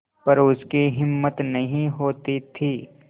पर उसकी हिम्मत नहीं होती थी